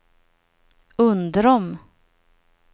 Undrom